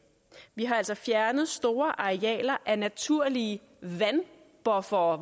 vi har altså fjernet store arealer af naturlige vandbuffere